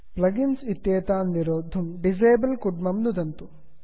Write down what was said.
plug इन्स् इत्येतान् निरोद्धुं disable कुड्मं नुदन्तु